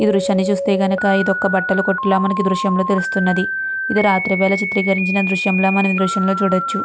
ఈ దృశ్యాన్ని చూస్తుంటే ఇది ఒక బట్టల కొట్టు లా మనకి ఈ దృశ్యాన్ని చూస్తుంటే తెలుస్తునంది. ఇది రాత్రి వేల చిత్రీకరించిన దృశ్యం లా మనం ఈ దృశ్యాన్ని చూడచ్చు.